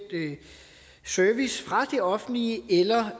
service fra det offentlige eller